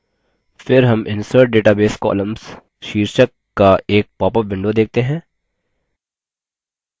फिर हम insert database columns शीर्षक का एक पॉपअप window देखते हैं